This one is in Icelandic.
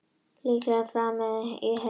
Líklega framið í Heiðmörk